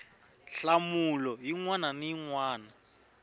nhlamulo yin wana na yin